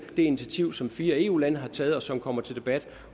det initiativ som fire eu lande har taget og som kommer til debat